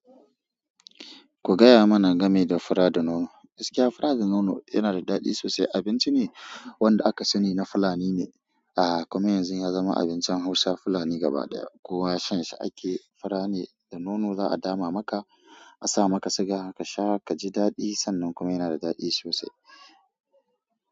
Ku gaya mana game da fura da nono. Gaskiya fura da nono yanada daɗi sosai. Abinci ne wanda aka sani na Fulani ne, a kuma yanzu yazama abincin Hausa Fulani gaba ɗaya. Kowa shanshi ake. Fura ne da nono za'a dama maka, asamaka siga, kasha kaji daɗi. Sannan kuma yana da daɗi sosai.